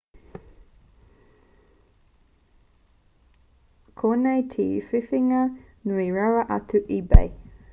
koinei te whiwhinga nui rawa atu a ebay